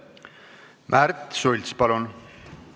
Märts Sults, palun!